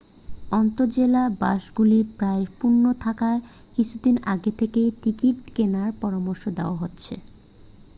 আন্তঃজেলা বাসগুলি প্রায়শই পূর্ণ থাকায় কিছুদিন আগে থেকেই টিকিট কেনার পরামর্শ দেওয়া হচ্ছে